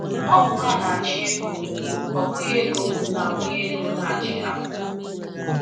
Ọ bụ ha na - achị ego, ọ bụghị ego na bụghị ego na - achị ha...